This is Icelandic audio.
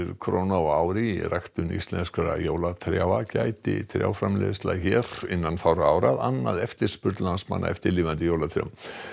króna á ári í ræktun á íslenskum jólatrjám gæti jólatrjáaframleiðsla hér innan fárra ára annað eftirspurn landsmanna eftir lifandi jólatrjám